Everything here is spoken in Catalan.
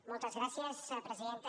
moltes gràcies presidenta